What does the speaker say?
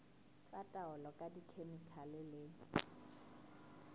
tsa taolo ka dikhemikhale le